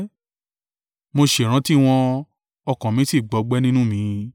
Mo ṣèrántí wọn, ọkàn mi sì gbọgbẹ́ nínú mi.